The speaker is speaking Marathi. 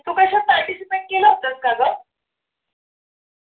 तू कशात participate केलं होतंस का?